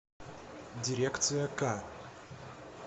дирекция к